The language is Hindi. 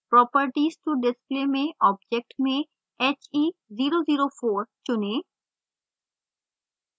properties to display में object में he004 चुनें